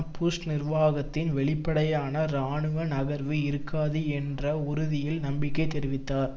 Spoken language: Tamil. புஷ் நிர்வாகத்தின் வெளிப்படையான இராணுவ நகர்வு இருக்காது என்ற உறுதியில் நம்பிக்கை தெரிவித்தார்